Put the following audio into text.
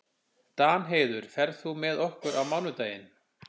Danheiður, ferð þú með okkur á mánudaginn?